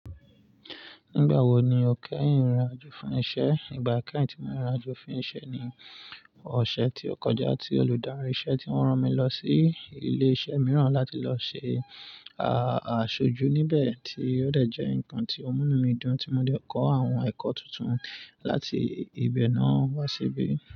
Nígbàwò ní o kẹ́yin rinrin àjò fún isẹ? Ìgbà kẹ́yìn tí mo rinrìn àjò fún iṣẹ́ ni ọ̀sẹ̀ tí o kọjá tí olùdarí isẹ tí wọn rán mi lọ sí ilé isẹ́ mìíràn láti lọ ṣe aṣojú níbẹ̀ tí ó dẹ̀ jẹ́ ǹkan tí ọ múnù mí dun tí mo dé kọ́ àwọn ẹ̀kọ́ tuntun láti ibẹ̀ náà wá síbí.